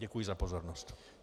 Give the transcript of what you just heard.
Děkuji za pozornost.